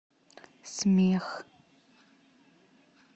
смех